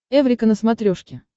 эврика на смотрешке